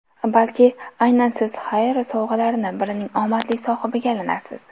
Balki, aynan Siz Haier sovg‘alaridan birining omadli sohibiga aylanarsiz!